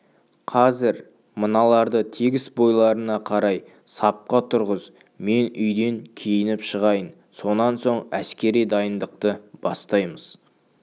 қазір мыналарды тегіс бойларына қарай сапқа тұрғыз мен үйден киініп шығайын сонан соң әскери дайындықты бастаймыз